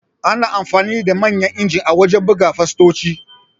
Ana amfani da Manyan injin a wajan buga fastoci